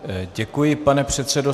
Děkuji, pane předsedo.